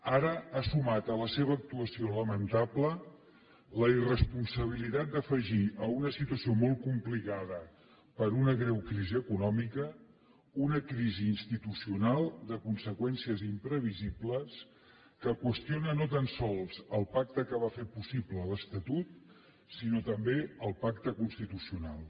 ara ha sumat a la seva actuació lamentable la irresponsabilitat d’afegir a una situació molt complicada per una greu crisi econòmica una crisi institucional de conseqüències imprevisibles que qüestiona no tan sols el pacte que va fer possible l’estatut sinó també el pacte constitucional